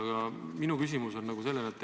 Aga minu küsimus on selline.